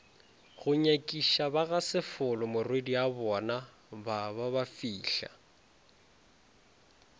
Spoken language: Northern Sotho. go nyakišabagasefolo morwediabona ba babafihla